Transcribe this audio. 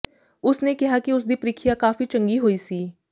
ਉਸ ਨੇ ਕਿਹਾ ਕਿ ਉਸ ਦੀ ਪ੍ਰੀਖਿਆ ਕਾਫ਼ੀ ਚੰਗੀ ਹੋਈ ਸੀ